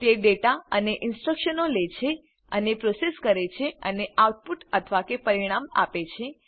તે ડેટા અને ઇનસ્ટ્રકશનો લે છે તેને પ્રોસેસ કરે છે અને આઉટપુટ અથવા કે પરિણામ આપે છે